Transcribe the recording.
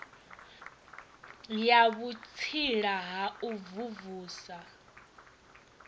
ya vhutsila ha u mvumvusa